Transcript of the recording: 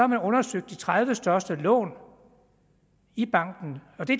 man undersøgt de tredive største lån i banken det